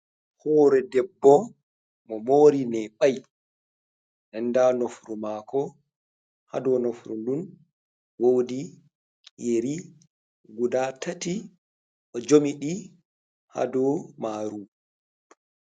Horee debbo o mori neɓai den nda nofru mako ha dou nofru ndun wodi yeri guda tati o jomi ɗi ha dou maru.